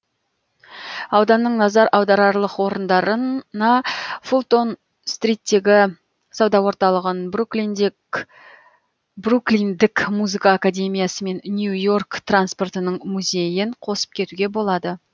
ауданның назар аударарлық орындарына фултон стриттегі сауда орталығын бруклиндік музыка академиясы мен нью йорк транспортының музейін қосып кетуге болады